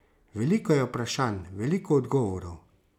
Veliko je vprašanj, veliko odgovorov.